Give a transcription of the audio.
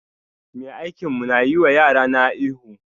Mai aikin mu na yi wa yarana ihu